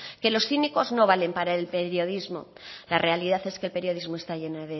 que los cínicos no valen para el periodismo la realidad es que el periodismo está lleno